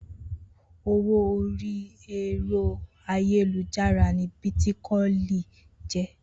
Owó orí ẹ̀rọ ayélujára ni Bítíkọ́ìn jẹ́.